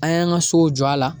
An y'an ka so jɔ a la